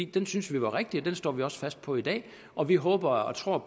den syntes vi var rigtig og den står vi også fast på i dag og vi håber og tror